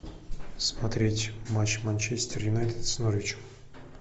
смотреть матч манчестер юнайтед с норвичем